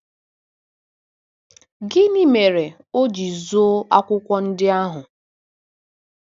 Gịnị mere o ji zoo akwụkwọ ndị ahụ?